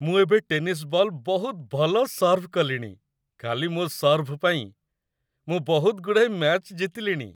ମୁଁ ଏବେ tennis ball ବହୁତ ଭଲ ସର୍ଭ କଲିଣି । ଖାଲି ମୋ ସର୍ଭ ପାଇଁ, ମୁଁ ବହୁତଗୁଡ଼ାଏ ମ୍ୟାଚ୍ ଜିତିଲିଣି ।